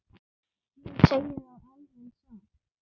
Ég segi það alveg satt.